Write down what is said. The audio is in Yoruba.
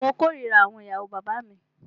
Mó kòrira àwọn ìyàwó bàbá mí.